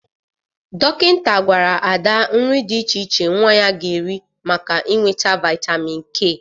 Dọkịta gwara Ada nri dị iche iche nwa ya ga-eri maka inweta vaịtamin K.